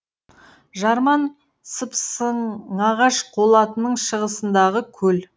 жарман сыпсың ағаш қолатының шығысындағы көл